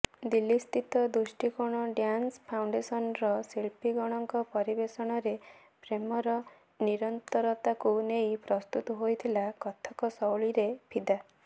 ଦିଲ୍ଲୀସ୍ଥିତ ଦୃଷ୍ଟିକୋଣ ଡ଼୍ୟାନ୍ସ ଫାଉଣ୍ଡେସନର ଶିଳ୍ପୀଗଣଙ୍କ ପରିବେଷଣରେ ପ୍ରେମର ନିରନ୍ତରତାକୁ ନେଇ ପ୍ରସ୍ତୁତ ହୋଇଥିଲା କଥକ ଶୈଳୀରେ ଫିଦା